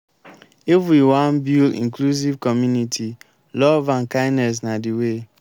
if we wan build inclusive community love and kindness na de way.